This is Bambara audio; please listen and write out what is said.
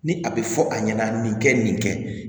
Ni a bɛ fɔ a ɲɛna nin kɛ nin kɛ